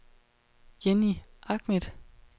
Jenny Ahmed